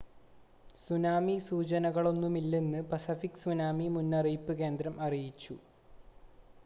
tsunami സൂചനകളൊന്നുമില്ലെന്ന് Pacific tsunami മുന്നറിയിപ്പ് കേന്ദ്രം അറിയിച്ചു